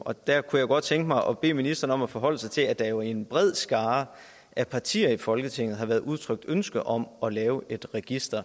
og der kunne jeg godt tænke mig at bede ministeren om at forholde sig til at der jo blandt en bred skare af partier i folketinget har været udtrykt ønske om at lave et register